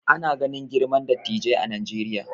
Ana ganin girman dattijai a Najeriya